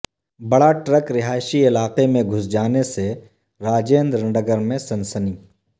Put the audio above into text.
بڑا ٹرک رہائشی علاقہ میں گھس جانے سے راجندر نگر میں سنسنی